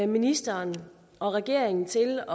ministeren og regeringen til